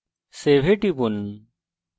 এখন save এ টিপুন